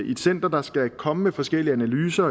i et center der skal komme med forskellige analyser